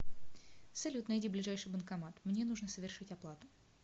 салют найди ближайший банкомат мне нужно совершить оплату